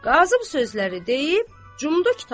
Qazı bu sözləri deyib cumdu kitaba.